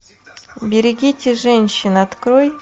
берегите женщин открой